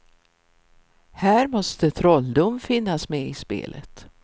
Här måste trolldom finnas med i spelet.